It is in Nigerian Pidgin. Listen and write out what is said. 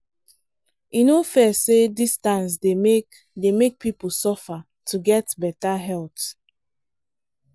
e no fair say distance dey make dey make people suffer to get better health.